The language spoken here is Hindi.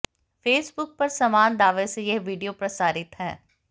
फेसबुक पर समान दावे से यह वीडियो प्रसारित है